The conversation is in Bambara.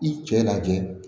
I cɛ lajɛ